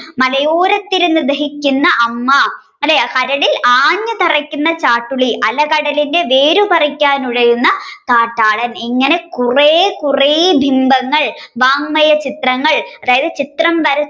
മലയോരത്തമ്മയിരുന്നു ദഹിക്കുന്ന അമ്മ അല്ലെ കരളിൽ ആണി തറയ്ക്കുന്ന ചാട്ടുളി അല്ലെ അലകടലിന്റെ കാട്ടാളൻ ഇങ്ങനെ കുറെ കുറെ ബിംബങ്ങൾ വാങ്മയ ചിത്രങ്ങൾ. അതായത് ചിത്രം